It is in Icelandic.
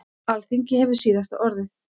Alþingi hefur síðasta orðið